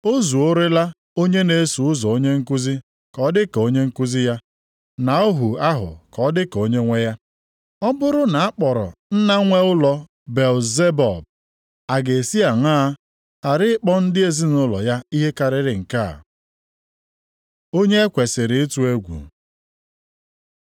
O zuorela onye na-eso ụzọ onye nkuzi ka ọ dị ka onye nkuzi ya, na ohu ahụ ka ọ dị ka onyenwe ya. Ọ bụrụ na a kpọrọ nna nwe ụlọ Belzebub, a ga-esi aṅaa ghara ịkpọ ndị ezinaụlọ ya ihe karịrị nke a? Onye e kwesiri ịtụ egwu